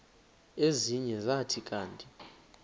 ezinye zathi kanti